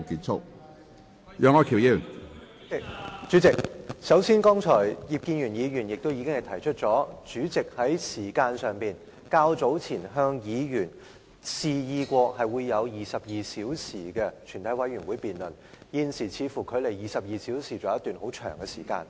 主席，首先，正如葉建源議員剛才提出，主席較早前曾表示，全體委員會將有22小時審議《條例草案》，現時距離22小時的界線尚有很長時間。